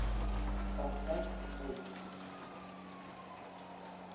поставь пульс